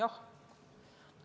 Loomulikult on vastus jaatav.